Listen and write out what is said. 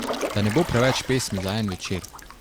Da ne bo preveč pesmi za en večer.